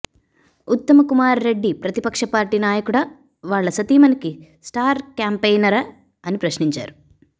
ఉత్తమకుమార్ రెడ్డి ప్రతిపక్ష పార్టీ నాయకుడా వాళ్ల సతీమణికి స్టార్ క్యాంపెయినరా అని ప్రశ్నించారు